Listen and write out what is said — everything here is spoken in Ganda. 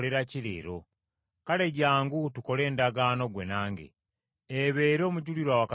Kale jjangu tukole endagaano gwe nange, ebeere omujulirwa wakati wo nange.”